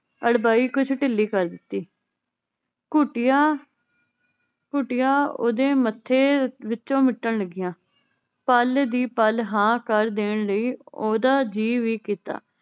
ਅੜਬਾਈ ਕੁਛ ਢਿੱਲੀ ਕਰ ਦਿੱਤੀ। ਘੁਟਿਆ ਘੁਟੀਆਂ ਓਦੇ ਮੱਥੇ ਵਿਚੋਂ ਮਿਟਣ ਲੱਗੀਆਂ। ਪੱਲ ਦੀ ਪੱਲ ਹਾਂ ਕਰ ਦੇਣ ਲਈ ਓਹਦਾ ਜੀ ਵੀ ਕੀਤਾ।